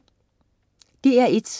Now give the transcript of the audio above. DR1: